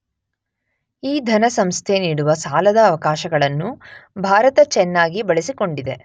ಈ ಧನಸಂಸ್ಥೆ ನೀಡುವ ಸಾಲದ ಅವಕಾಶಗಳನ್ನು ಭಾರತ ಚೆನ್ನಾಗಿ ಬಳಸಿಕೊಂಡಿದೆ.